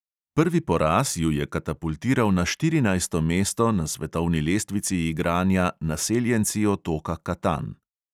Prvi poraz ju je katapultiral na štirinajsto mesto na svetovni lestvici igranja naseljenci otoka katan.